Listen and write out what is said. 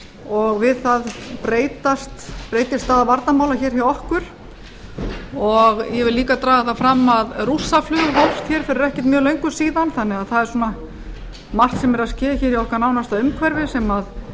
og við það breyttist staða varnarmála hjá okkur ég vil líka draga það fram að rússaflug hófst fyrir ekkert mjög löngu síðan þannig að það er margt sem er að ske í okkar nánasta umhverfi sem